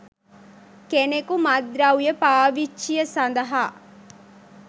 කෙනෙකු මත්ද්‍රව්‍ය පාවිච්චිය සඳහා